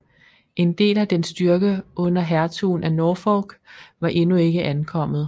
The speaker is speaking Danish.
En del af dens styrke under hertugen af Norfolk var endnu ikke ankommet